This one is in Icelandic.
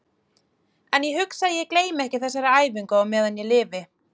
En ég hugsa að ég gleymi ekki þessari æfingu á meðan ég lifi.